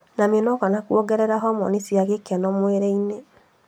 Na mĩnoga na kuongerera homoni cia gĩkeno mwĩrĩ-inĩ.